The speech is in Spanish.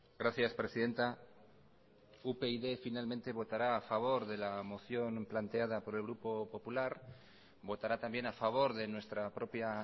gracias presidenta upyd finalmente votará a favor de la moción planteada por el grupo popular votará también a favor de nuestra propia